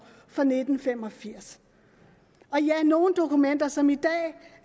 fra nitten fem og firs og ja nogle dokumenter som i dag